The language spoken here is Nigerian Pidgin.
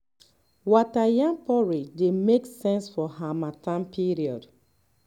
water yam porridge dey make sense for harmattan period